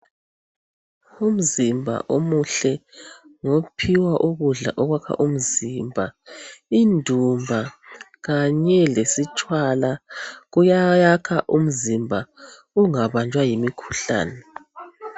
Umzimba omuhle ngophiwa ukudla okwakha umzimba, indumba kanye lesitshwala kuyayakha umzimba ungabanjwa yimikhuhlane.